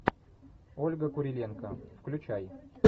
ольга куриленко включай